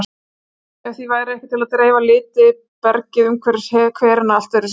Ef því væri ekki til að dreifa liti bergið umhverfis hverina allt öðruvísi út.